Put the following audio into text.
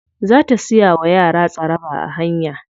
Za ta siya wa yara tsaraba a hanya.